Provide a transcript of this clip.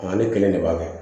Ale kelen de b'a kɛ